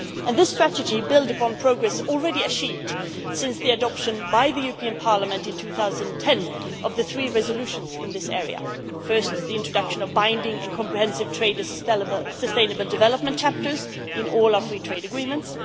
This strategy builds upon progress already achieved since the adoption by the European Parliament in 2010 of the three resolutions in this area first, the introduction of binding and comprehensive trade and sustainable development chapters in all our free trade agreements